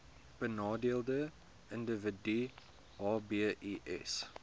benadeelde individue hbis